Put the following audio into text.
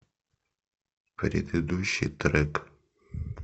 предыдущий трек